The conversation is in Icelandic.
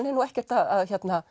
er nú ekkert að